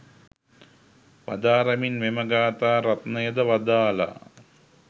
වදාරමින් මෙම ගාථා රත්නයද වදාළා.